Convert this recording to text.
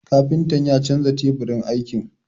Kafintan ya canza teburin aiki.